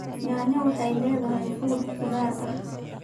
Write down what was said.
Nanya waxay leedahay fuud qudaar ah